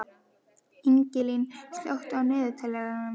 Ingilín, slökktu á niðurteljaranum.